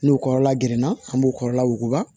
N'u kɔrɔla gerenna an b'o kɔrɔla wuguba